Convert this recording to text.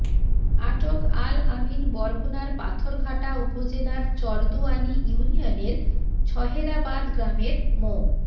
আটক আল আমিন বরগুনার পাথরঘাটা উপজেলার চরদুয়ানী ইউনিয়নের ছহেরাবাদ গ্রামের মো